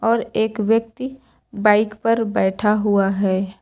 और एक व्यक्ति बाइक पर बैठा हुआ है।